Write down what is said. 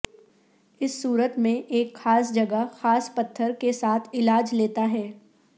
اس صورت میں ایک خاص جگہ خاص پتھر کے ساتھ علاج لیتا ہے